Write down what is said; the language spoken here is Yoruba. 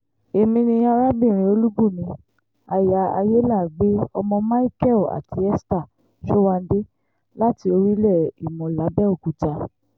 èmi ni arábìnrin olùbùnmi aya ayélàágbẹ́ ọmọ micheal àti esther sowande láti orílẹ̀ ìmọ̀ làbẹ́òkúta